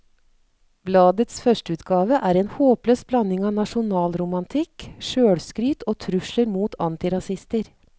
Bladets førsteutgave er en håpløs blanding av nasjonalromantikk, sjølskryt og trusler mot antirasister.